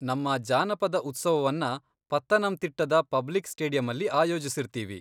ನಮ್ಮ ಜಾನಪದ ಉತ್ಸವವನ್ನ ಪತ್ತನಂತಿಟ್ಟದ ಪಬ್ಲಿಕ್ ಸ್ಟೇಡಿಯಮ್ಮಲ್ಲಿ ಆಯೋಜಿಸಿರ್ತೀವಿ.